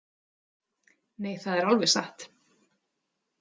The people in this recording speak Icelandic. Nei, það er alveg satt.